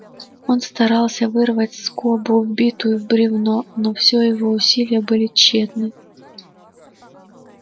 он старался вырвать скобу вбитую в бревно но всё его усилия были тщетны